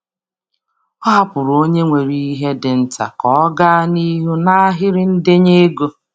Ọ hapụrụ onye nwere ihe dị nta ka ọ gaa n'ihu n'ahịrị ndenye ego.